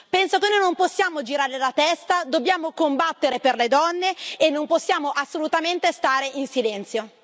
Penso che noi non possiamo girare la testa, dobbiamo combattere per le donne e non possiamo assolutamente stare in silenzio.